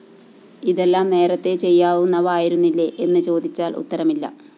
ഇതെല്ലാം നേരത്തേ ചെയ്യാവുന്നവ ആയിരുന്നില്ലേ എന്ന് ചേദിച്ചാല്‍ ഉത്തരമില്ല